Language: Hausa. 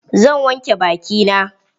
Zan wanke baki na.